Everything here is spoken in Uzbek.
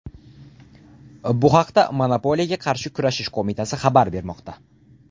Bu haqda monopoliyaga qarshi kurashish qo‘mitasi xabar bermoqda .